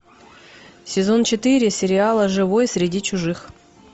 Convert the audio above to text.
сезон четыре сериала живой среди чужих